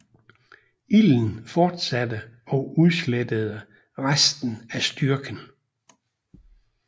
Ilden fortsatte og udslettede resten af styrken